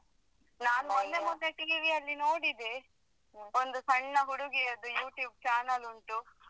ನಾನ್ ಮೊನ್ನೆ ಮೊನ್ನೆ TV ಅಲ್ಲಿ ನೋಡಿದೆ ಒಂದು ಸಣ್ಣ ಹುಡುಗಿಯದು YouTube channel ಉಂಟು.